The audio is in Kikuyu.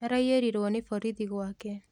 Araiyĩrirwo nĩ borithi gwake